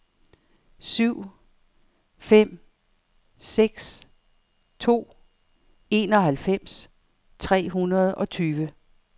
syv fem seks to enoghalvfems tre hundrede og tyve